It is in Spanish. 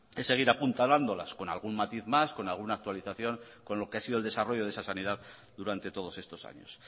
es seguir apuntalándolas con algún matiz más con alguna actualización con lo que ha sido el desarrollo de esa sanidad durante todos estos años